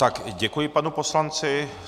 Tak, děkuji panu poslanci.